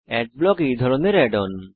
adblock হল এই ধরনের অ্যাড অন